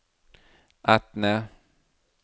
Etne